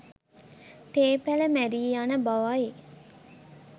තේ පැළ මැරී යන බවයි